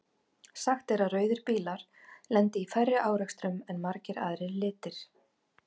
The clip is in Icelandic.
Sagt er að rauðir bílar lendi í færri árekstrum en margir aðrir litir.